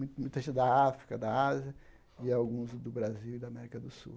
Mui muita da África, da Ásia e alguns do Brasil e da América do Sul.